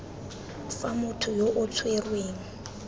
fa motho yo o tshwerweng